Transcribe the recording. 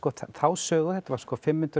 þá sögu og þetta var fimm hundruð